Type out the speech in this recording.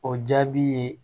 O jaabi ye